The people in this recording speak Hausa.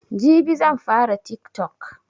Jibi zanfara tiktok